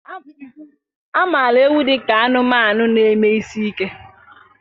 A maara ewu dị ka anụmanụ na-eme isi ike.